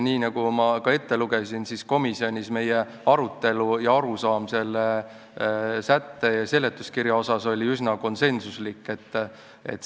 Nii nagu ma enne ette lugesin, oli meil komisjonis arutelu ja arusaam sellest sättest ja seletuskirjast üsna konsensuslik.